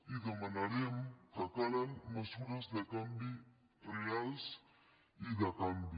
i demanarem que calen mesures de canvi reals i de canvi